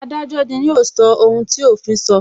Adájọ́ ni yóò sọ ohun tí òfin so